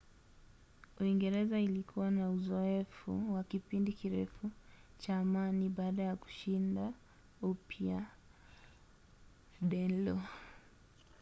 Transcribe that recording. uingereza ilikuwa na uzoefu wa kipindi kirefu cha amani baada ya kushinda upya danelaw